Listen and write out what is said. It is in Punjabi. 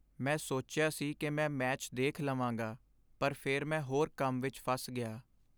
ਮੈਂ ਸੋਚਿਆ ਸੀ ਕਿ ਮੈਚ ਦੇਖ ਲਵਾਂਗਾ ਪਰ ਫਿਰ ਮੈਂ ਹੋਰ ਕੰਮ ਵਿਚ ਫਸ ਗਿਆ।